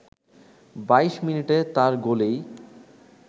২২ মিনিটে তার গোলেই